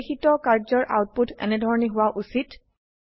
নিৰ্দেশিত কাৰ্জৰ আউটপুট এনেধৰনে হোৱা উচিত